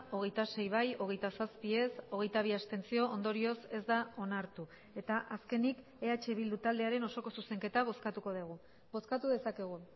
hogeita sei bai hogeita zazpi ez hogeita bi abstentzio ondorioz ez da onartu eta azkenik eh bildu taldearen osoko zuzenketa bozkatuko dugu bozkatu dezakegu